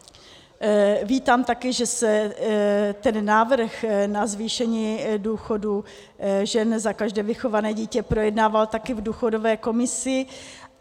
Vítám taky, že se ten návrh na zvýšení důchodu ženě za každé vychované dítě projednával taky v důchodové komisi.